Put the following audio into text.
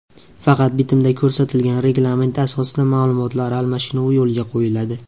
Faqat bitimda ko‘rsatilgan reglament asosida ma’lumotlar almashinuvi yo‘lga qo‘yiladi.